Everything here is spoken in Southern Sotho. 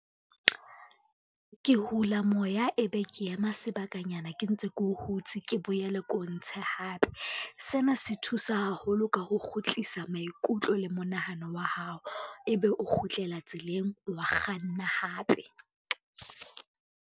Ke hula moya, ebe ke ema sebakanyana ke ntse ke o hutse, ke boele ke o ntshe hape. Sena se thusa haholo ka ho kgutlisa maikutlo le monahano wa hao, ebe o kgutlela tseleng wa kganna hape.